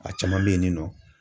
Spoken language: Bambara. A caman bɛ yen ni nɔ